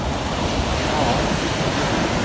Maren Myklebust